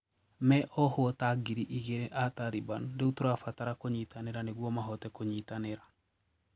"Me ohwo taa ngiri igĩrĩ aa Taliban riũ tũrabatara kũnyitanĩra niguo mahote kũnyitanĩra.